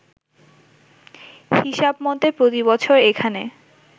হিসাবমতে প্রতিবছর এখানে